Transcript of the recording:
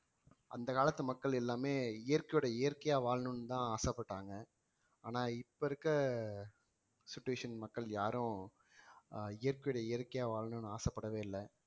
அந்த காலத்து மக்கள் எல்லாமே இயற்கையோட இயற்கையா வாழணும்னுதான் ஆசைப்பட்டாங்க ஆனா இப்ப இருக்க situation மக்கள் யாரும் ஆஹ் இயற்கையோட இயற்கையா வாழணும்ன்னு ஆசைப்படவே இல்லை